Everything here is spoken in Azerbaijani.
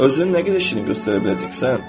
Özünü nə qədər şirin göstərə biləcəksən?